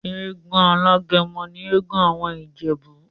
Egún alágẹmọ ni egún awọn Ijebu.